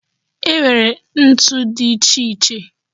E nwere ntu dị iche iche